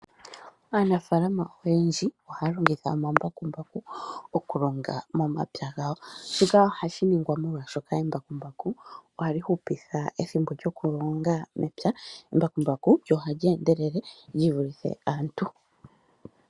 Aanafaalama oyendji ohaya longitha omambakumbaku oku longa momapya gawo, shika ohashi ningwa molwaashoka embakumbaku ohali hupitha ethimbo lyokulonga mepya, lyo ohali endelele lyivulithe aantu.